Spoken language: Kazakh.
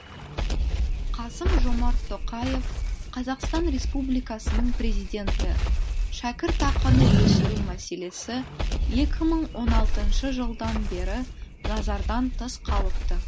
қасым жомарт тоқаев қазақстан республикасының президенті шәкіртақыны өсіру мәселесі екі мың он алтыншы жылдан бері назардан тыс қалыпты